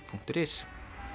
punktur is